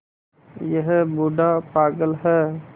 यह बूढ़ा पागल है